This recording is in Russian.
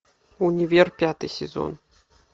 универ пятый сезон